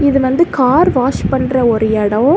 இது வந்து car wash பண்ற ஒரு எடம்.